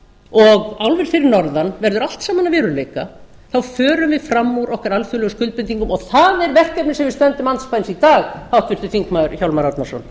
og álver fyrir norðan verður allt saman að veruleika þá förum við fram úr okkar alþjóðlegu skuldbindingum og það er verkefnið sem við stöndum andspænis í dag háttvirtir þingmenn hjálmar árnason